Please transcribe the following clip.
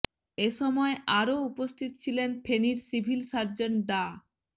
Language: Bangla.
এ সময় আরো উপস্থিত ছিলেন ফেনীর সিভিল সার্জন ডা